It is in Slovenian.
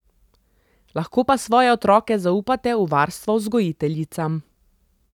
Lahko pa svoje otroke zaupate v varstvo vzgojiteljicam.